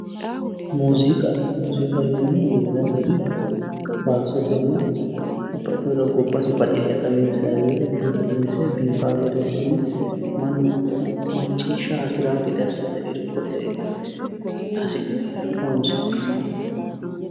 Muziiqa, muziiqaho yineemmohu roore anga faarsote babbaxeha gobbate baxile dukkinse biifinse mannu maccishshara hasirano gede assine irkote hasi'ne horonsi'neemmoho